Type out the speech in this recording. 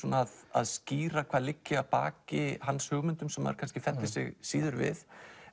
að að skýra hvað liggi að baki hans hugmyndum sem maður kannski fellir sig síður við